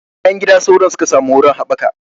A bayan gida sauron suka samu wurin haɓaka